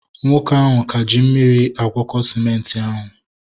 Nwoke ahụ ka ji mmiri agwọko sịmenti ahu